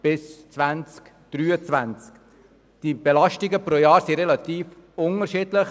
Die Belastungen pro Jahr sind unterschiedlich.